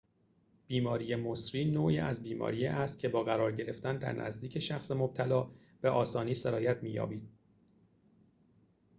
بیماری مسری نوعی از بیماری است که با قرار گرفتن در نزدیک شخص مبتلا به آسانی سرایت می‌یابد